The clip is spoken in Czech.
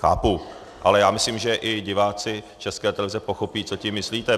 Chápu, ale já myslím, že i diváci České televize pochopí, co tím myslíte.